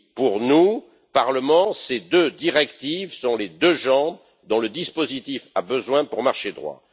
Pour nous, Parlement, ces deux directives sont les deux jambes dont le dispositif a besoin pour marcher droit.